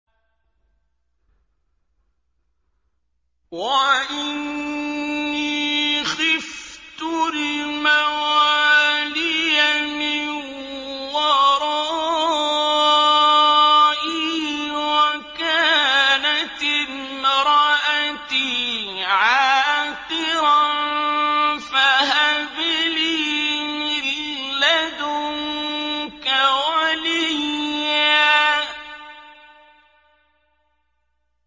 وَإِنِّي خِفْتُ الْمَوَالِيَ مِن وَرَائِي وَكَانَتِ امْرَأَتِي عَاقِرًا فَهَبْ لِي مِن لَّدُنكَ وَلِيًّا